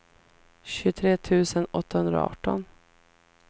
tjugotre tusen åttahundraarton